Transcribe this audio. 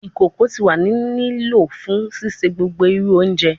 Ikoko ti wa ni lo fun sise gbogbo iru ounje